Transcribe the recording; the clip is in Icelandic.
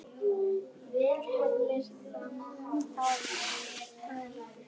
Vilhelm þagði.